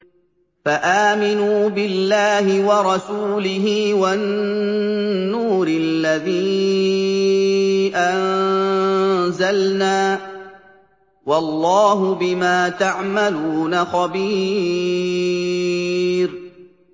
فَآمِنُوا بِاللَّهِ وَرَسُولِهِ وَالنُّورِ الَّذِي أَنزَلْنَا ۚ وَاللَّهُ بِمَا تَعْمَلُونَ خَبِيرٌ